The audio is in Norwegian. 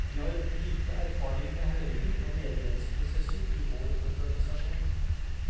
Vi har lite erfaring med høringer og medlemsprosesser i vår organisasjon.